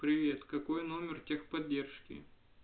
привет какой номер техподдержки